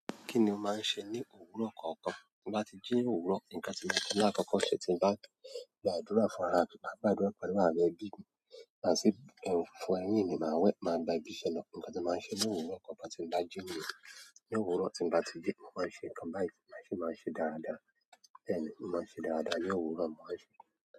Kí ni o máa ń ṣe ní òwúrọ̀ kọ̀ọ̀kan? Bí mo bá ti jí òwúrọ̀, nǹkan tí mo i maa n kọ́kọ́ ṣe tí mo bá gbàdúrà fún ara mi, máa gba àdúrà pẹ̀lú àwọn ẹbí mi ma si fo ẹ̀yìn mi, máa wẹ̀, máa gba ibi iṣẹ́ lọ. Ǹkan tí mo bá ń ṣe ní òwúrọ̀ kọ̀ọ̀kan tin bá jí níyì, ní òwúrọ̀ tí bá ti ji, mo máa ń ṣe nǹkan bái, ma si máa ń ṣe dáradára. Bẹ́ẹ̀ ni, mo máa ń ṣe dáradára ní òwúrọ̀, mo máa ń ṣe.